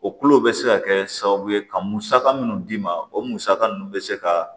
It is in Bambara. O kulo bɛ se ka kɛ sababu ye ka musaka minnu d'i ma o musaka ninnu bɛ se ka